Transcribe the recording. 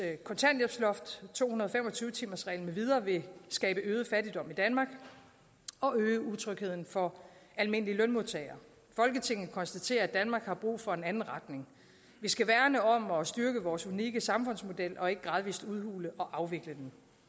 kontanthjælpsloft to hundrede og fem og tyve timersregel med videre vil skabe øget fattigdom i danmark og øge utrygheden for almindelige lønmodtagere folketinget konstaterer at danmark har brug for en anden retning vi skal værne om og styrke vores unikke samfundsmodel og ikke gradvist udhule og afvikle